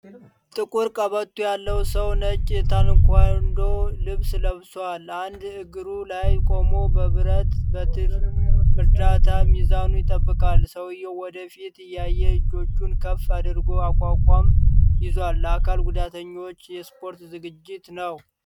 ጥቁር ቀበቶ ያለው ሰው ነጭ የታይኳንዶ ልብስ ለብሷል። አንድ እግሩ ላይ ቆሞ በብረት በትር እርዳታ ሚዛኑን ይጠብቃል። ሰውዬው ወደ ፊት እያየ እጆቹን ከፍ አድርጎ አቋቋም ይዟል። ለአካል ጉዳተኞች የስፖርት ዝግጅት ነው?